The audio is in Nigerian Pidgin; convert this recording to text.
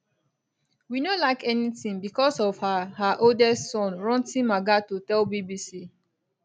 we no lack anytin bicos of her her oldest son ranti makgato tell bbc